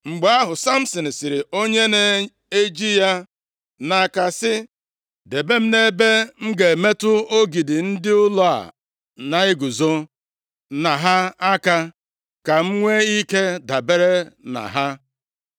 Mgbe ahụ, Samsin sịrị onye na-eji ya nʼaka sị, “Debe m nʼebe m ga-emetụ ogidi ndị ụlọ a na-eguzo na ha aka, ka m nwe ike dabere na ha.”